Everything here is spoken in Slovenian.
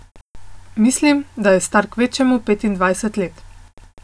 Mislim, da je star kvečjemu petindvajset let.